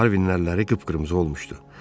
Harvinləri qıpqırmızı olmuşdu.